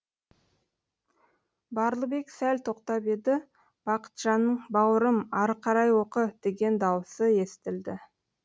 барлыбек сәл тоқтап еді бақытжанның бауырым ары қарай оқы деген дауысы естілді